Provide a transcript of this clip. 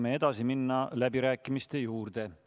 Me saame minna läbirääkimiste juurde.